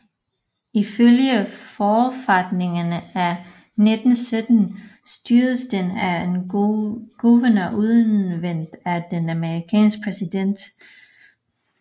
Ifølge forfatningen af 1917 styredes denne af en guvernør udnævnt af den amerikanske præsident